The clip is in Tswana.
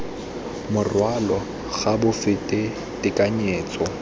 morwalo ga bo fete tekanyetso